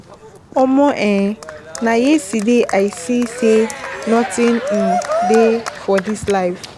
Omo um na yesterday I see sey notin um dey for dis life.